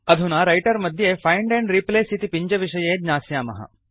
अधुना रैटर् मध्ये find and replace इति पिञ्जविषये ज्ञास्यामः